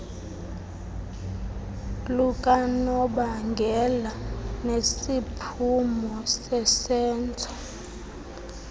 lukanobangela nesiphumo sesenzo